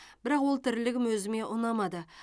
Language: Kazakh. бірақ ол тірлігім өзіме ұнамады